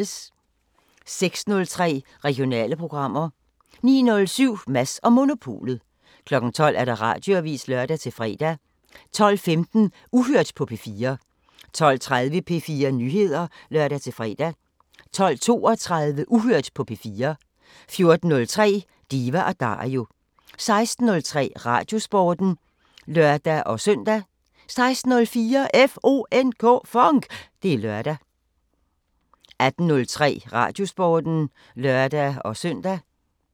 06:03: Regionale programmer 09:07: Mads & Monopolet 12:00: Radioavisen (lør-fre) 12:15: Uhørt på P4 12:30: P4 Nyheder (lør-fre) 12:32: Uhørt på P4 14:03: Diva & Dario 16:03: Radiosporten (lør-søn) 16:04: FONK! Det er lørdag 18:03: Radiosporten (lør-søn)